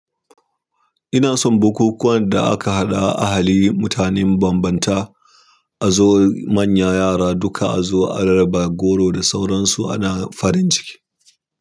Ina son bukukuwan da aka haɗa ahali mutane mabambanta, a zo manya yara duka a zo a rarraba goro da sauransu ana farin ciki.